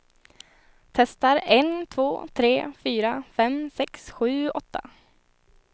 Testar en två tre fyra fem sex sju åtta.